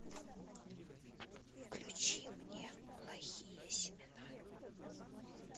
включи мне плохие семена